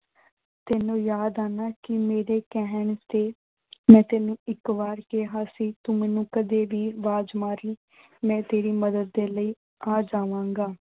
ਤੈਨੂੰ ਯਾਦ ਆ ਨਾ ਕਿ ਮੇਰੇ ਕਹਿਣ ਤੇ ਮੈਂ ਤੈਨੂੰ ਇੱਕ ਵਾਰ ਕਿਹਾ ਸੀ ਤੂੰ ਮੈਨੂੰ ਕਦੇ ਵੀ ਆਵਾਜ਼ ਮਾਰ ਲਈਂ, ਮੈਂ ਤੇਰੀ ਮਦਦ ਦੇ ਲਈ ਆ ਜਾਵਾਂਗਾ।